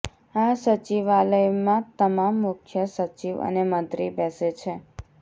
આ સચિવાલયમાં તમામ મુખ્ય સચિવ અને મંત્રી બેસે છે